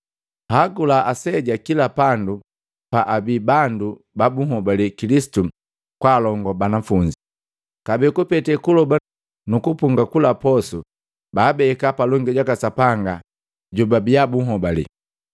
Hagula aseja kila pandu paabi bandu ba bunhobale Kilisitu kwaalongo banafunzi, kabee kupete kuloba nukupunga kula posu, baabeka palongi jaka Sapanga jobabia bunhobale.